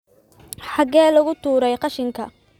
Xagee lagu tuuray qashinka?